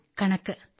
കനിഗ mathematics